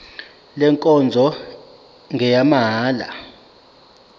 le nkonzo ngeyamahala